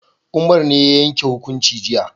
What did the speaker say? Umar ne ya yanke hukunci jiya